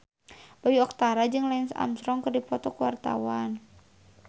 Bayu Octara jeung Lance Armstrong keur dipoto ku wartawan